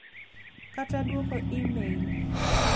Kata dwoko e-mail,